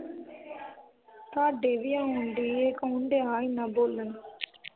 ਤੁਹਾਡੇ ਵੀ ਆਉਣ ਦੀ ਆ ਇਹ ਕੌਣ ਦਿਆ ਏਨਾ ਬੋਲਣ?